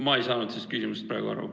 Ma ei saanud praegu küsimusest aru.